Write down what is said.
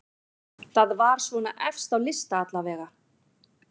Það var svona efst á lista allavega.